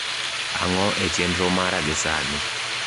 ang`o e chenro mara gi sani